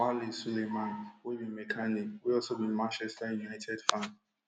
swale suleiman wey be mechanic wey also be manchester united fan